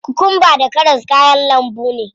Kokwamba da karas kayan lambu ne.